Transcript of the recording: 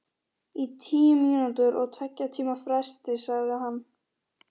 Í tíu mínútur á tveggja tíma fresti, sagði hann.